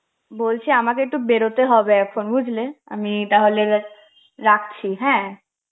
বলছি আমাকে একটু বেরোতে হবে এখন বুঝলে, আমি তাহলে রাখছি হ্যাঁ.